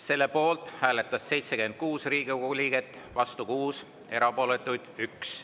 Selle poolt hääletas 76 Riigikogu liiget, vastu oli 6, erapooletuid 1.